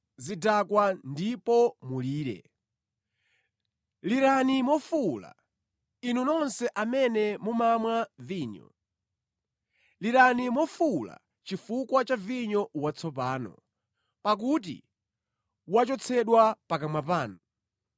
Dzukani, inu zidakwa ndipo mulire! Lirani mofuwula, inu nonse amene mumamwa vinyo; lirani mofuwula chifukwa cha vinyo watsopano, pakuti wachotsedwa pakamwa panu.